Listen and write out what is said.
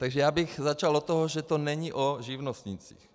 Takže já bych začal od toho, že to není o živnostnících.